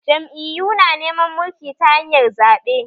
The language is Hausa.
Jam’iyu na neman mulki ta hanyar zaɓe